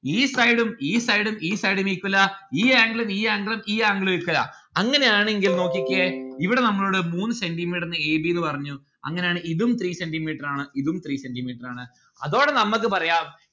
ഈ side ഉം ഈ side ഉം ഈ side ഉം equal ആ ഈ angle ഉം ഈ angle ഉം ഈ angle ഉം equal ആ. അങ്ങനെയാണെങ്കിൽ നോക്കിക്കേ ഇവിടെ നമ്മളുടെ മൂന്ന് centi metre a b ന്ന് പറഞ്ഞു അങ്ങനാണേൽ ഇതും three centi metre ആണ് ഇതും three centimetre ആണ്. അതൊടെ നമ്മക്ക് പറയാം